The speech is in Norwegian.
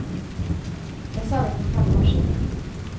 Det sa vi for fem år siden.